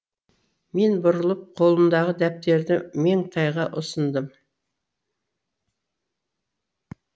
мен бұрылып қолымдағы дәптерді меңтайға ұсындым